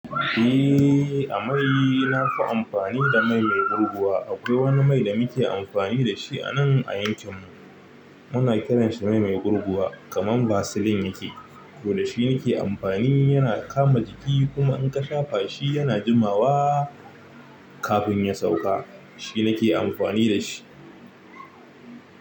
Eh, a mai nafi amfani da mai mai gurguwa. Akwai wani mai da muke amfani da shi anan a yankin mu muna kiranshi mai gurguwa kaman vaseline yake. To dashi nike amfani yana kama jiki in ka shafa shi yana jimawa kafin ya sauka. Shi nake amfani da shi.